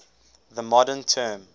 the modern term